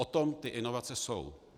O tom ty inovace jsou.